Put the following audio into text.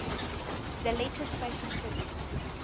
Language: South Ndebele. the latest fashion tips